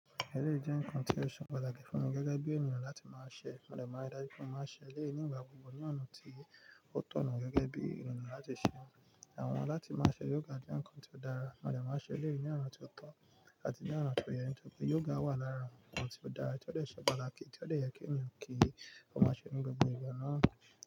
Ẹ̀lẹ́ jẹ́ nǹkan tí ó ṣe pàtàkì fún mi gẹ́gẹ́ bí ènìyàn láti máa ṣẹ, mo dẹ̀ máa ń dájú pé mo máa ṣe léyìí ní ìgbà gbogbo ní ọ̀nà tí ó tọ̀nà gẹ́gẹ́ bí ènìyàn láti ṣe. Àwọn láti máa ṣe yoga jẹ́ nǹkan tí ó dára, mo dẹ̀ máa ń ṣe lẹ́yìn ní ọ̀nà tí o tọ́ àti ní ọ̀nà tó o yẹ ní nítorí yoga wà lára ǹkan tí ó dára tí ó ṣe pàtàkì tí ó dẹ̀ yẹ kí ènìyàn kí ó máa ṣe ní gbogbo ìgbà náà.